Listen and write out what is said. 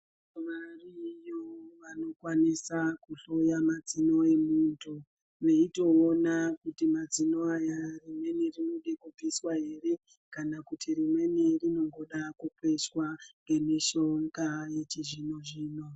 Variyo vanokwanisa kuhloya madzino wemuntu veitoona kuti madzino aya rimweni rinoda kubviswa ere kana kuti rimweni rinongoda kukwesha nemishonga yechizvino zvino.